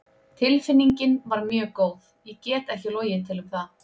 Tilfinningin var mjög góð, ég get ekki logið til um það.